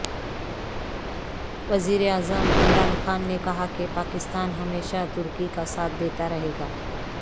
وزیراعظم عمران خان نے کہا کہ پاکستان ہمیشہ ترکی کا ساتھ دیتا رہے گا